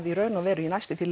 í raun og veru næstum því